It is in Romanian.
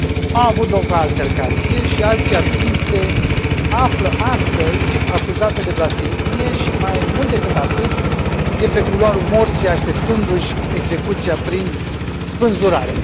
A avut loc o altercație și Asia Bibi se află astăzi acuzată de blasfemie și, mai mult decât atât, este pe culoarul morții așteptându și execuția prin spânzurare.